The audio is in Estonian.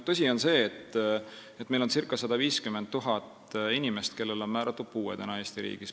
Tõsi on see, et Eesti riigis on circa 150 000 inimest, kellele on määratud puue.